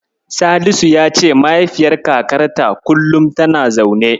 Salisu ya ce mahaifiyar kakarta kullum tana zaune.